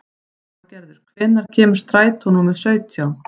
Þorgerður, hvenær kemur strætó númer sautján?